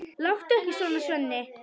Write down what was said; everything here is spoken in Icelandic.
Láttu ekki svona, Svenni.